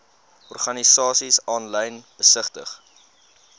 organisasies aanlyn besigtig